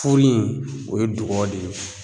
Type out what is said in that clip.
Furu in o ye dugɔ de ye